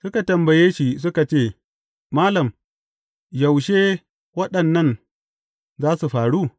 Suka tambaye shi suka ce, Malam, yaushe waɗannan za su faru?